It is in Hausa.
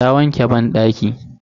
Ta wanke banɗaki.